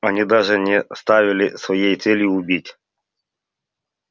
они даже не ставили своей целью убить